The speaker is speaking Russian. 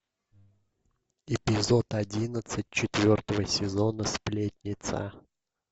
эпизод одиннадцать четвертого сезона сплетница